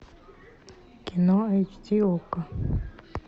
кино эйч ди окко